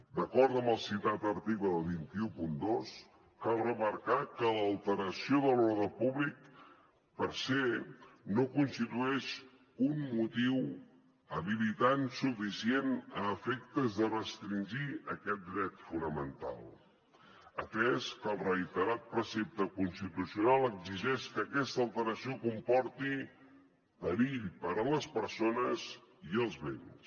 d’acord amb el citat article dos cents i dotze cal remarcar que l’alteració de l’ordre públic per se no constitueix un motiu habilitant suficient a efectes de restringir aquest dret fonamental atès que el reiterat precepte constitucional exigeix que aquesta alteració comporti perill per a les persones i els béns